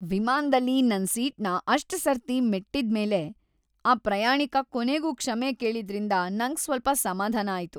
ವಿಮಾನ್ದಲ್ಲಿ ನನ್ ಸೀಟ್‌ನ ಅಷ್ಟ್ ಸರ್ತಿ ಮೆಟ್ಟಿದ್ಮೇಲೆ ಆ ಪ್ರಯಾಣಿಕ ಕೊನೆಗೂ ಕ್ಷಮೆ ಕೇಳಿದ್ರಿಂದ ನಂಗ್‌ ಸ್ವಲ್ಪ ಸಮಾಧಾನ ಆಯ್ತು.